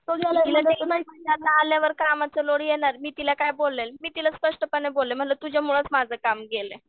आल्यावर कामाचा लोड येणार मी तिला काय बोलले मी तिला स्पष्टपणेच बोलले म्हणलं तुझ्यामुळंच माझं काम गेलं.